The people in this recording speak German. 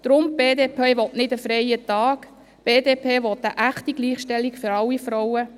Deshalb: Die BDP will nicht einen freien Tag, die BDP will eine echte Gleichstellung für alle Frauen.